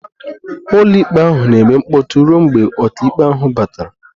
Ụlọikpe ahụ na-eme mkpọtụ ruo mgbe ọkàikpe ahụ batara